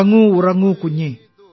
ഉറങ്ങൂ ഉറങ്ങൂ കുഞ്ഞേ